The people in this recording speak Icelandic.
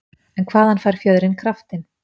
En hvaðan fær fjöðrin kraftinn?